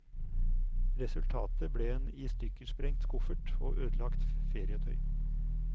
Resultatet ble en istykkersprengt koffert og ødelagt ferietøy.